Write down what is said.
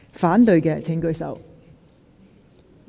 反對的請舉手。